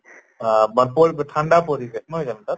আহ ঠান্দা পৰি নহয় জানো তাত?